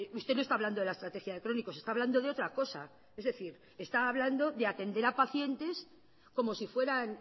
usted no está hablando de la estrategia de crónicos está hablando de otra cosa es decir está hablando de atender a pacientes como si fueran